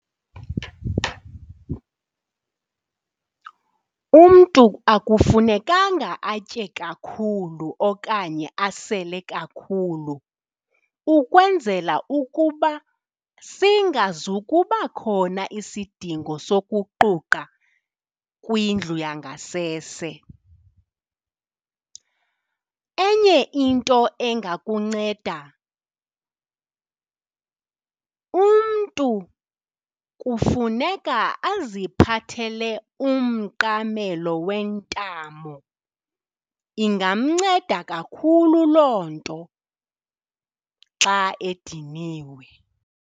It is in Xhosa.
Umntu akufunekanga atye kakhulu okanye asele kakhulu ukwenzela ukuba singazukuba khona isidingo sokuquqa kwindlu yangasese. Enye into engakunceda, umntu kufuneka aziphathele umqamelo wentamo, ingamnceda kakhulu loo nto xa ediniwe.